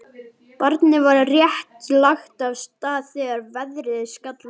Barnið var rétt lagt af stað þegar veðrið skall á.